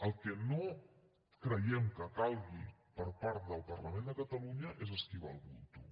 el que no creiem que calgui per part del parlament de catalunya és esquivar el bulto